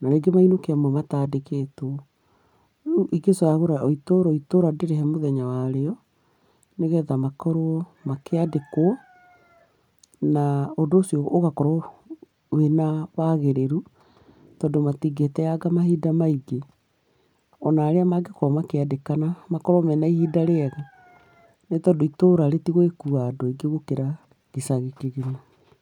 na rĩngĩ mainũke amwe matandĩkĩtwo. Rĩu ingĩcagũra o itũra o itũra ndĩrĩhe mũthenya warĩo, nĩgetha makorwo makĩandĩkwo, na ũndũ ũcio ũgakorwo wĩna wagĩrĩru, tondũ matingĩteanga mahinda maingĩ. Ona arĩa mangĩkorwo makĩandĩkana makorwo mena ihinda rĩega. Nĩ tondũ itũra rĩtigũgĩkuua andũ aingĩ gũkĩra gĩcagi kĩgima.